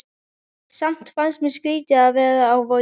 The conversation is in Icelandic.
Samt fannst mér skrýtið að vera á Vogi.